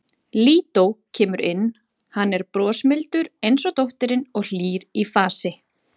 Lídó kemur inn, hann er brosmildur eins og dóttirin og hlýr í fasi.